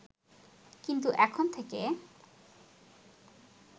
কিন্তু এখন থেকে